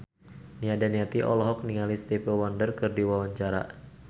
Nia Daniati olohok ningali Stevie Wonder keur diwawancara